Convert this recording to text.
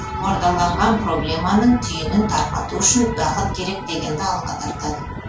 қордаланған проблеманың түйінін тарқату үшін уақыт керек дегенді алға тартады